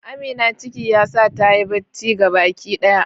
Amina ciki yasa tayi bacci gabaki daya.